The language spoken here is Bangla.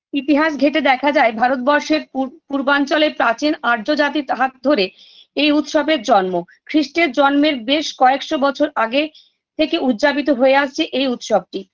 ইতিহাস ঘেঁটে দেখা যায় ভারতবর্ষের পুর পূর্বাঞ্চলে প্রাচীন আর্য জাতির হাত ধরে এই উৎসবের জন্ম খ্রিষ্টের জন্মের বেস কয়েকশো বছর আগে থেকে উদযাপিত হয়ে আসছে এই উৎসবটি